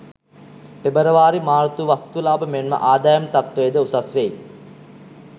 පෙබරවාරි මාර්තු වස්තු ලාබ මෙන්ම ආදායම් තත්ත්වය ද උසස් වෙයි.